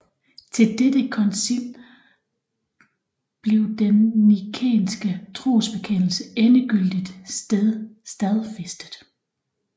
Til dette koncil blev den nikænske trosbekendelse endegyldigt stadfæstet